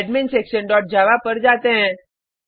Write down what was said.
adminsectionजावा पर जाते हैं